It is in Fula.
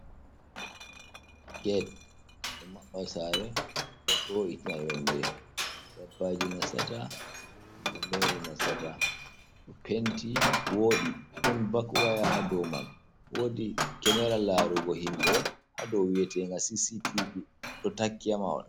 Gete ɗo maɓɓa sare ɗo wo’itina yonde dabbaji nasata himɓɓe mere nasata, penti woɗi don bak waya ha ɗo man wodi kemera larugo himɓɓe ha dou wietenga cctb ɗo taki ha mahol.